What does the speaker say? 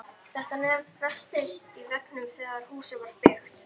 Þetta nef festist í veggnum þegar húsið var byggt.